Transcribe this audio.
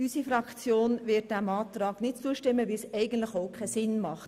Unsere Fraktion wird diesem Antrag nicht zustimmen, weil es eigentlich keinen Sinn macht.